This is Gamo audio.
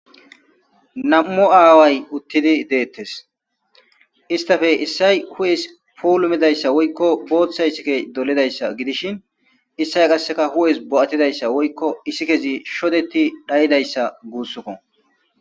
Nam'u aaway utidi detesi, istappe issay hu'esi puulumidaysa woyko Bootha isikey dolidaysa gidishn issay qaseka hu'esi bo'atidaysa woyko isikezi shodeti dhayidaysa gusuko.